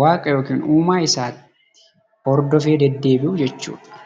Waaqa yookaan uumaa isaatti hordofee deddeebi'u jechuudha.